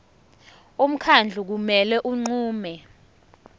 umkhandlu kumele unqume